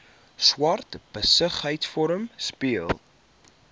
swart besigheidsforum speel